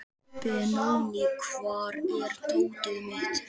Benóný, hvar er dótið mitt?